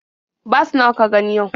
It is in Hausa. Bas nawa ka gani yau?